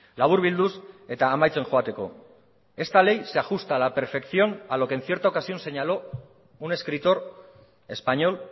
laburbilduz eta amaitzen joateko esta ley se ajusta a la perfección a lo que en cierta ocasión señaló un escritor español